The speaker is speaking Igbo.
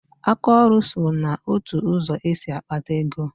Aka ọrụ so n'otu ụzọ esi akpata ego